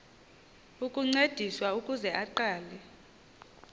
ukuncediswa ukuze aqale